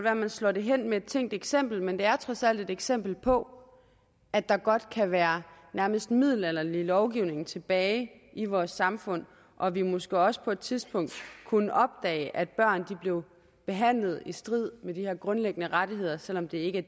at man slår det hen med et tænkt eksempel men det er trods alt et eksempel på at der godt kan være nærmest middelalderlig lovgivning tilbage i vores samfund og at vi måske også på et tidspunkt kunne opdage at børn bliver behandlet i strid med de her grundlæggende rettigheder selv om det ikke